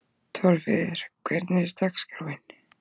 Torfheiður, hvernig er dagskráin?